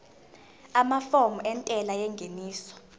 amafomu entela yengeniso